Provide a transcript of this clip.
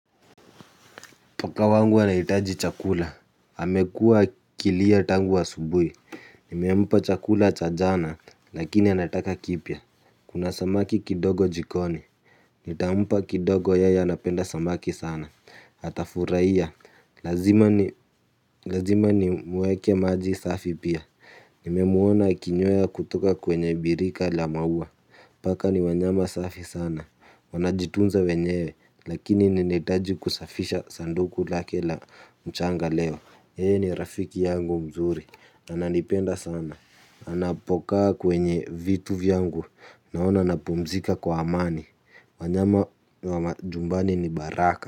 Paka wangu anaitaji chakula. Amekua akilia tangu asubuhi. Nimempa chakula chajana, lakini anataka kipya. Kuna samaki kidogo jikoni. Nitampa kidogo yeye anapenda samaki sana. Ata furahia. Lazima ni muwekee maji safi pia. Nimemwona akinyoya kutoka kwenye birika lamaua. Paka ni wanyama safi sana. Wanajitunza wenyewe lakini ninetaji kusafisha sanduku lakela mchanga leo. Hii ni rafiki yangu mzuri. Ananipenda sana. Anapokaa kwenye vitu vyangu. Naona napumzika kwa amani. Wanyama nyumbani ni baraka.